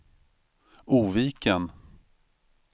Oviken